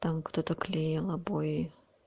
там кто-то клеил обои